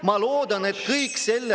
Ma loodan, et kõik seal …